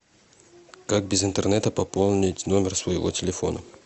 как без интернета пополнить номер своего телефона